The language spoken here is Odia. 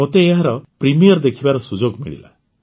ମୋତେ ଏହାର ପ୍ରିମିୟର ଦେଖିବାର ସୁଯୋଗ ମିଳିଲା